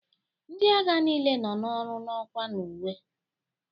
Ndị agha niile nọ n'ọrụ nọkwa n'uwe.